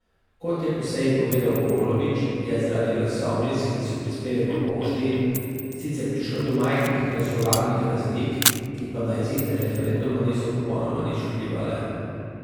Kot je po seji povedal Golobič, je zaradi glasovnic, ki so prispele po pošti, sicer prišlo do majhnih glasovalnih razlik, ki pa na izid referenduma niso popolnoma nič vplivale.